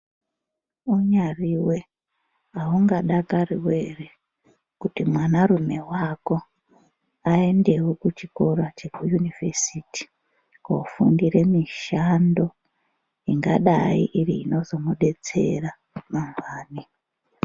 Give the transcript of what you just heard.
Unyariwe haungadakariwo here kuti mwana rume wako aendewo kuchikora chekuyunivhesiti kunofundira mishando ingadai iri inozomubetsera mangwani.